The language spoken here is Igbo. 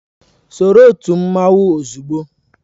Soro otu mmanwu ozugbo!